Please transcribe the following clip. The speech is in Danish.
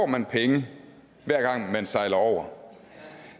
man penge hver gang man sejler over